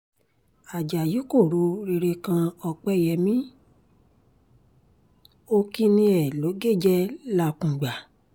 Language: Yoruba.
ajá yìí kò ro rere kan ọ̀pẹyẹmi ó kínní ẹ̀ ló gé jẹ làkùngbà